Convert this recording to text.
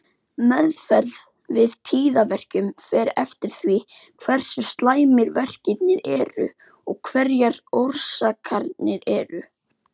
Meðferð við tíðaverkjum fer eftir því hversu slæmir verkirnir eru og hverjar orsakirnar eru.